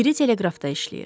Biri teleqrafda işləyir.